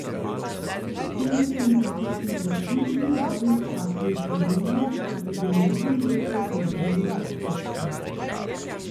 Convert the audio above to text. Kljub temu sem zatisnil oči in dovolil času iti mimo, kot bi bil nežen veter med drevjem otroštva.